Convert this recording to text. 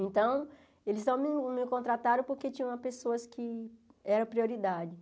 Então, eles não me contrataram porque tinham pessoas que eram prioridade.